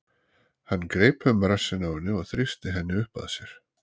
Hann greip um rassinn á henni og þrýsti henni upp að sér.